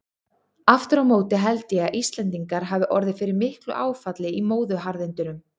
Aftur á móti held ég að Íslendingar hafi orðið fyrir miklu áfalli í móðuharðindunum.